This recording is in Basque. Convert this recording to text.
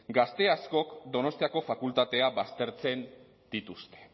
gazte askok donostiako fakultatea baztertzen dituzte